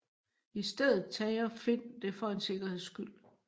I stedet tager Finn det for en sikkerheds skyld